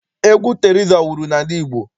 Egwu Teriza wuru n'ala Igbo.